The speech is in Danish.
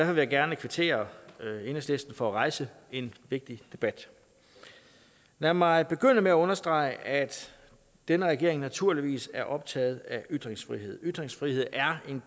vil jeg gerne kvittere enhedslisten for at rejse en vigtig debat lad mig begynde med at understrege at denne regering naturligvis er optaget af ytringsfrihed ytringsfrihed er en